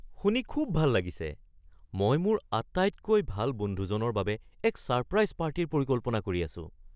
শুনি খুব ভাল লাগিছে! মই মোৰ আটাইতকৈ ভাল বন্ধুজনৰ বাবে এক ছাৰপ্ৰাইজ পাৰ্টীৰ পৰিকল্পনা কৰি আছোঁ।